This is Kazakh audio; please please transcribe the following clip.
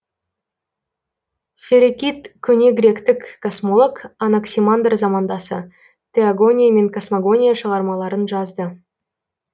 ферекид көне гректік космолог анаксимандр замандасы теогония мен космогония шығармаларын жазды